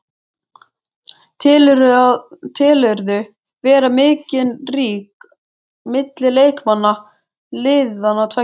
Telurðu vera mikinn ríg milli leikmanna liðanna tveggja?